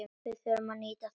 Við urðum að nýta það.